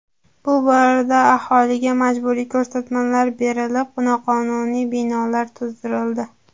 Bu borada aholiga majburiy ko‘rsatmalar berilib, noqonuniy binolar buzdirildi.